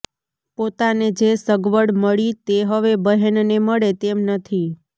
પોતાને જે સગવડ મળી તે હવે બહેનને મળે તેમ નથી